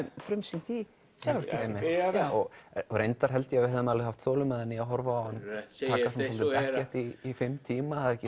frumsýnt í Selárkirkju og reyndar held ég að við höfum alveg haft þolinmæði að horfa á hann í fimm tíma það er ekki